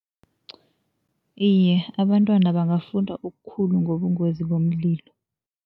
Iye, abantwana bangafunda okukhulu ngobungozi bomlilo.